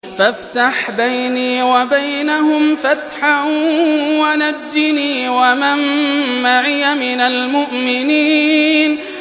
فَافْتَحْ بَيْنِي وَبَيْنَهُمْ فَتْحًا وَنَجِّنِي وَمَن مَّعِيَ مِنَ الْمُؤْمِنِينَ